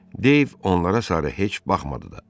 Dave onlara sarı heç baxmadı da.